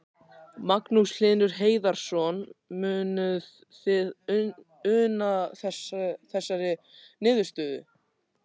Magnús Hlynur Hreiðarsson: Munuð þið una þessari niðurstöðu?